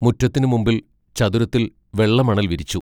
മുറ്റത്തിനു മുമ്പിൽ ചതുരത്തിൽ വെള്ളമണൽ വിരിച്ചു.